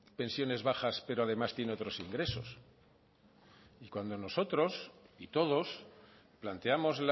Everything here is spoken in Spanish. pensiones bajas pero además tiene otros ingresos y cuando nosotros y todos planteamos